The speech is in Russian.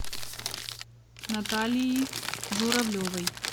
наталии журавлевой